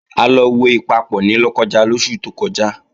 A lọ wo Ìpapọ̀ ní Lọ́kọ́ja lóṣù tó kọjá